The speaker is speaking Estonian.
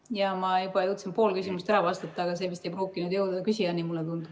Jaa, ma juba jõudsin poole küsimusest ära vastata, aga see vist ei pruukinud jõuda küsijani, mulle tundub.